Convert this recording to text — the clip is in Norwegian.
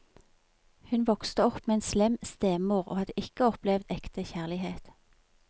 Hun vokste opp med en slem stemor, og hadde ikke opplevd ekte kjærlighet.